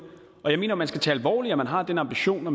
og jeg mener at man skal tage alvorligt at man har den ambition at